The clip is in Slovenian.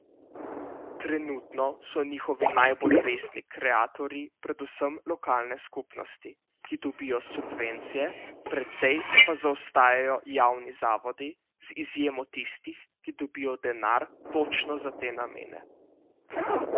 Trenutno so njihovi najbolj resni kreatorji predvsem lokalne skupnosti, ki dobijo subvencije, precej pa zaostajajo javni zavodi, z izjemo tistih, ki dobijo denar točno za te namene.